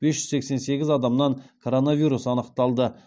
бес жүз сексен сегіз адамнан коронавирус анықталды